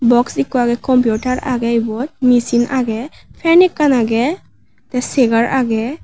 box ekku age computer age ibot machine age fan ekkan age the chair age.